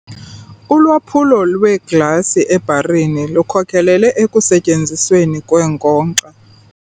Ulwaphulo lweeglasi ebharini lukhokelele ekusetyenzisweni kweenkonkxa.